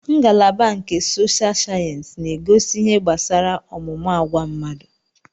Ngalaba nke sosha sayensị na-akuzi ihe gbasara ọmụmụ agwa mmadụ